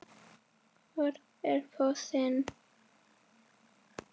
Hver er fossinn?